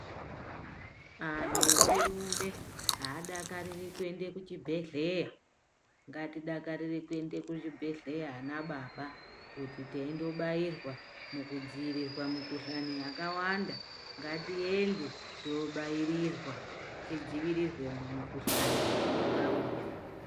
Antu echirume aadakariri kuende kuchibhedhleya ngatidakarire kuende kuzvibhedhleya ana baba kuti teindobairwa mukudziirirwa mumikhuhlani yakawanda ngatiende toobairirwa tidzivirirwe mumukhuhlani ingauya.